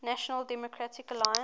national democratic alliance